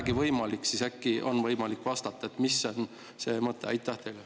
Aga kui teil on vähegi võimalik, siis äkki vastate, mis on selle mõte.